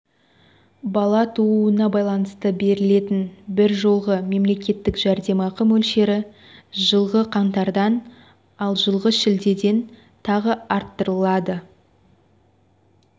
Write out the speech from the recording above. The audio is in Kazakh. бала тууына байланысты берілетін бір жолғы мемлекеттік жәрдемақы мөлшері жылғы қаңтардан ал жылғы шілдеден тағы арттырылады